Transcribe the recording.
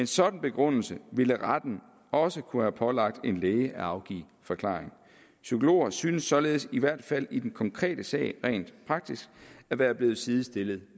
sådan begrundelse ville retten også kunne have pålagt en læge at afgive forklaring psykologer synes således i hvert fald i den konkrete sag rent praktisk at være blevet sidestillet